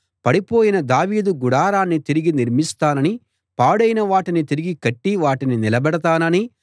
పడిపోయిన దావీదు గుడారాన్ని తిరిగి నిర్మిస్తాననీ పాడైన వాటిని తిరిగి కట్టి వాటిని నిలబెడతాననీ